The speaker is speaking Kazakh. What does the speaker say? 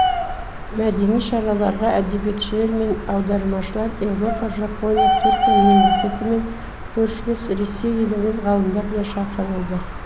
мәдени шараларға әдебиетшілер мен аудармашылар еуропа жапония түркия мемлекеті мен көршілес ресей елінен ғалымдар да шақырылды